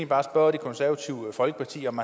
bare spørge det konservative folkeparti om